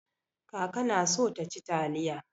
Kaka na so taci taliya.